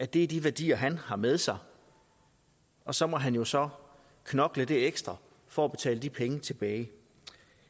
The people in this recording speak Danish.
det er de værdier han har med sig og så må han jo så knokle det ekstra for at betale de penge tilbage